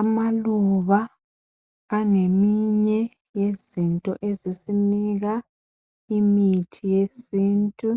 Amaluba angeminye yezinto ezisinika imithi yesintu